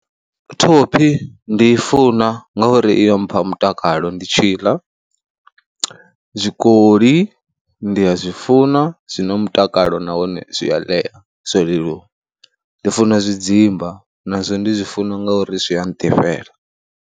Thophi ndi i funa ngauri i ya mpha mutakalo ndi tshi i ḽa, zwikoli ndi a zwi funa zwi na mutakalo nahone zwi a ḽea, zwo leluwa. Ndi funa zwidzimba nazwo ndi zwi funa ngauri zwi a nḓifhela.